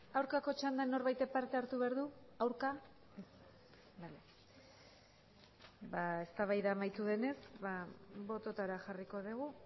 aurkako txandan norbaitek partea hartu behar du aurka ez eztabaida amaitu denez bototara jarriko dugu